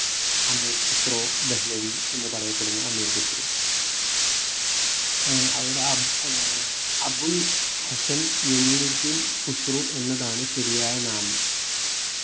അമീർ ഖുസ്രോ ദഹ്ലവി എന്ന് പറയപ്പെടുന്ന അമീർ ഖുസ്രു ആഹ് അവിടെ ഏർ അബുൽ ഹസ്സൻ യമിനുദ്ദീൻ ഖുസ്രു എന്നതാണ് ശരിയായ നാമം